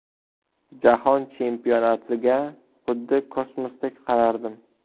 Jahon chempionatiga xuddi kosmosdek qarardim.